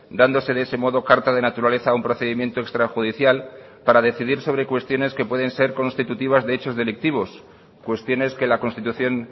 dándose de ese modo carta de naturaleza a un procedimiento extrajudicial para decidir sobre cuestiones que pueden ser constitutivas de hechos delictivos cuestiones que la constitución